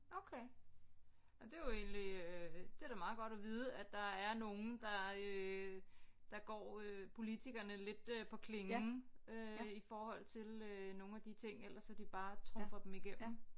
Okay og det er jo egentlig øh det er da meget godt at vide at der er nogle der øh der går øh politikerne lidt øh på klingen øh i forhold til øh nogle af de ting ellers at de bare trumfer dem igennem